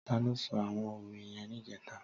Tàló só áwòn ówé yèn nijètá?